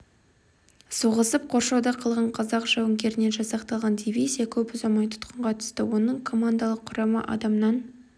соғысып қоршауда қалған қазақ жауынгерінен жасақталған дивизия көп ұзамай тұтқынға түсті оның командалық құрамы адамнан